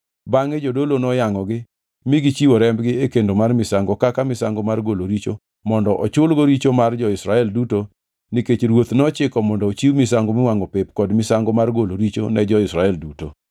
Bangʼe jodolo noyangʼogi mi gichiwo rembgi e kendo mar misango kaka misango mar golo richo mondo ochulgo richo mar jo-Israel duto nikech ruoth nochiko mondo ochiw misango miwangʼo pep kod misango mar golo richo ne jo-Israel duto.